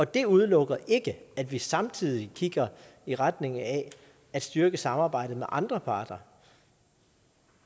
det udelukker ikke at vi samtidig kigger i retning af at styrke samarbejdet med andre parter